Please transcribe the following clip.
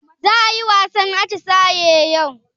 Za ayi wasan atisaye yau?